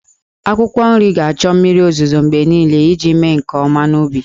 Akwụkwọ nri ga-achọ mmiri ozuzo mgbe niile iji mee nke ọma n'ubi.